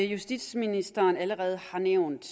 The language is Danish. justitsministeren allerede har nævnt